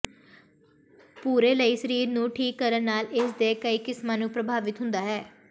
ਪੂਰੇ ਲਈ ਸਰੀਰ ਨੂੰ ਠੀਕ ਕਰਨ ਨਾਲ ਇਸ ਦੇ ਕਈ ਕਿਸਮਾਂ ਨੂੰ ਪ੍ਰਭਾਵਿਤ ਹੁੰਦਾ ਹੈ